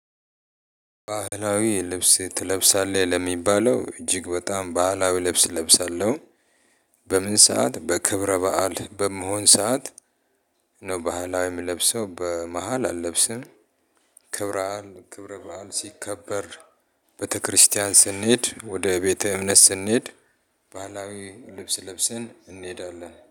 ባህላዊ ልብስ ትለብሳለህ ለሚባለው እጅግ በጣም ባህላዊ ልብስ እለብሳለሁ። በምን ሰዓት በክብረ በዓል በምሆን ሰዓት ነው ባህላዊ ምለብሰው በመሃል አለብስም። አክብረአል ክብረ በዓል ሲከበር ቤተክርስቲያን ስንሄድ ወደ ቤተ እምነት ስንሄድ። ባህላዊ ልብስ ልብሰን እንሄዳለን